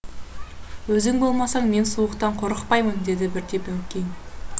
өзің болмасаң мен суықтан қорықпаймын деді бірде баукең